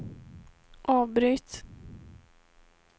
avbryt